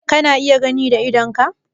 Kana iya gani da idonka?